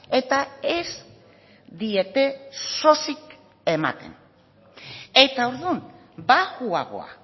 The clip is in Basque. eta ez diete sosik ematen eta orduan baxuagoa